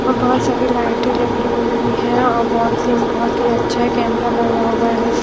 और बहुत सारी लाइटें लगी हुई है और वॉल थिंग बहुत ही अच्छा है कैमरा लगा हुआ है।